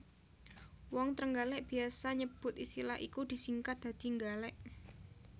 Wong Trenggalèk biyasa nyebut istilah iku disingkat dadi Nggalèk